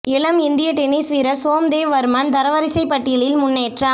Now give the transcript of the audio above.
இளம் இந்திய டென்னிஸ் வீரர் சோம் தேவ் வர்மன் தரவரிசை பட்டியலில் முன்னேற்றம்